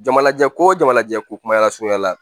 Jamalajɛ ko jama lajɛ ko kumaya la surunya la